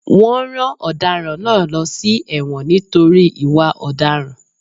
Wọn rán ọ̀daràn náà lọ sí èwòn nítorí ìwà ọ̀daràn.